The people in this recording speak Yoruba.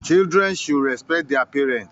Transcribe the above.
Children should respect their parents